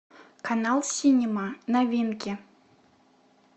канал синема новинки